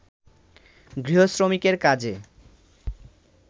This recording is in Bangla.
গৃহ-শ্রমিকের কাজে